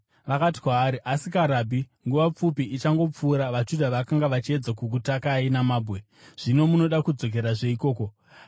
Vakati kwaari, “Asika Rabhi, nguva pfupi ichangopfuura, vaJudha vakanga vachiedza kukutakai namabwe, zvino munoda kudzokerazve ikoko here?”